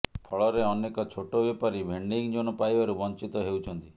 ଫଳରେ ଅନେକ ଛୋଟ ବେପାରୀ ଭେଣ୍ଡିଂଜୋନ୍ ପାଇବାରୁ ବଞ୍ଚିତ ହେଉଛନ୍ତି